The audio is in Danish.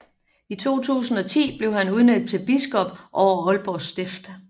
I 2010 blev han udnævnt til biskop over Aalborg Stift